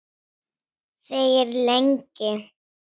Þegir lengi.